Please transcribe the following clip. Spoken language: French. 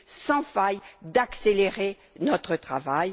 sans faille d'accélérer notre travail.